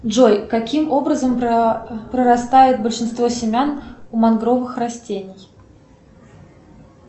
джой каким образом прорастает большинство семян у мангровых растений